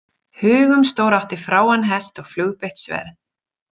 Hugumstór átti fráan hest og flugbeitt sverð.